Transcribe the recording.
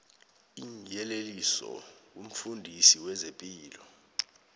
iinyeleliso kumfundisi wezepilo